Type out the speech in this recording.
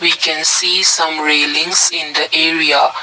we can see some railings in the area.